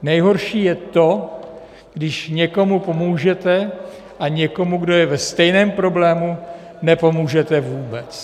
Nejhorší je to, když někomu pomůžete a někomu, kdo je ve stejném problému, nepomůžete vůbec.